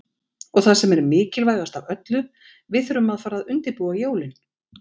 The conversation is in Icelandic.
Og það sem er mikilvægast af öllu, við þurfum að fara að undirbúa jólin.